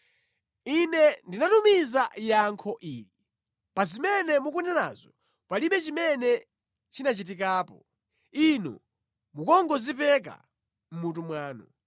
Ine ndinatumiza yankho ili: “Pa zimene mukunenazo, palibe chimene chinachitikapo. Inu mukungozipeka mʼmutu mwanu.”